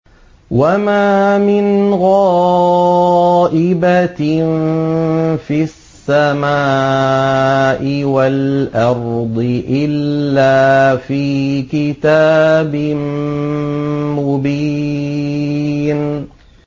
وَمَا مِنْ غَائِبَةٍ فِي السَّمَاءِ وَالْأَرْضِ إِلَّا فِي كِتَابٍ مُّبِينٍ